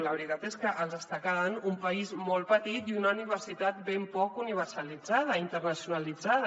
la veritat és que els està quedant un país molt petit i una universitat ben poc universalitzada i internacionalitzada